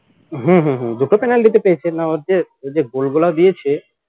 হম হম হম দুটোতে কালকেরটা পেয়েছে না ওইযে ওইযে goal গুলা দিয়েছে